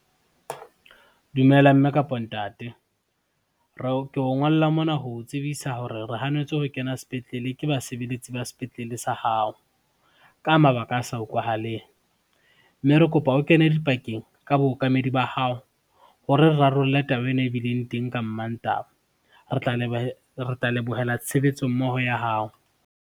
Dumela mme kapo ntate, ke o ngolla mona ho o tsebisa hore re hanetswe ho kena sepetlele ke basebeletsi ba sepetlele sa hao. Ka mabaka a sa utlwahaleng, mme re kopa o kene dipakeng ka bookamedi ba hao, hore re rarolle taba ena e bileng teng ka Mantaha. Re tla lebohela tshebetso mmoho ya hao.